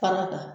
Fara kan